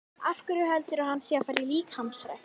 Af hverju heldurðu að hann sé að fara í líkamsrækt?